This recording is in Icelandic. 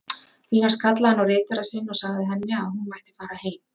Því næst kallaði hann á ritara sinn og sagði henni að hún mætti fara heim.